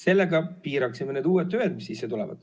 Sellega piiraksime need uued tüved, mis sisse tulevad.